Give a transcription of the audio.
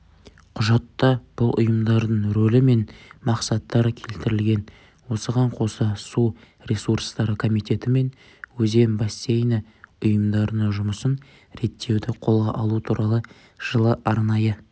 құжатта бұл ұйымдардың ролі мен мақсаттары келтірілген осыған қоса су ресурстары комитеті мен өзен бассейні ұйымдарының жұмысын реттеуді қолға алу туралы жылы арнайы